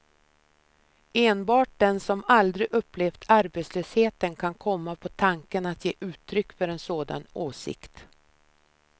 Enbart den som aldrig upplevt arbetslösheten kan komma på tanken att ge uttryck för en sådan åsikt.